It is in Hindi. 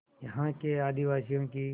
यहाँ के आदिवासियों की